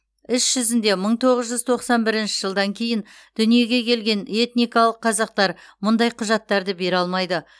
іс жүзінде мың тоғыз жүз тоқсан бірінші жылдан кейін дүниеге келген этникалық қазақтар мұндай құжаттарды бере алмайды